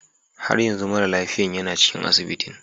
Har yanzu mara lafiyan yana cikin asibitin.